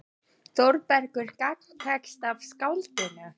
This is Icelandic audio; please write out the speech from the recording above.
Þórbergur gagntekst af skáldinu.